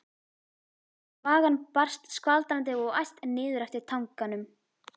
Þvagan barst skvaldrandi og æst niður eftir tanganum.